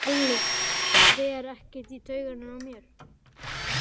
Halli fer ekkert í taugarnar á mér.